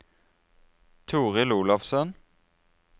Torhild Olafsen